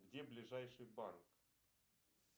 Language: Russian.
где ближайший банк